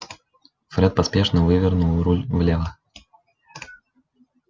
фред поспешно вывернул руль влево